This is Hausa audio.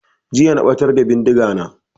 Jiya na ɓatar da bindiga na